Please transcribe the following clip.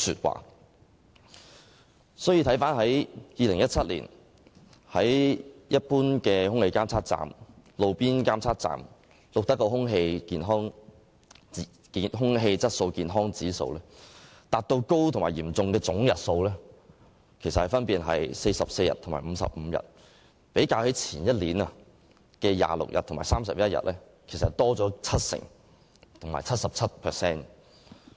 回看2017年，一般及路邊空氣質素監測站錄得的空氣質素健康指數達到"高"及"嚴重"的總日數分別是44日和55日，較前年的26日和31日分別高出 70% 和 77%。